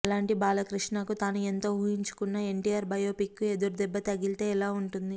అలాంటి బాలకృష్ణకు తాను ఎంతో ఊహించుకున్న ఎన్టీఆర్ బయోపిక్ కు ఎదురుదెబ్బ తగిలితే ఎలా వుంటుంది